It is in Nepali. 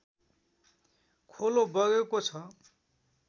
खोलो बगेको छ